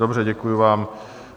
Dobře, děkuji vám.